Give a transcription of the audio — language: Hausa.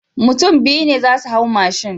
Mutun biyu ne zasu hau mashin